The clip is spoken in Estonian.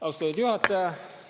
Austatud juhataja!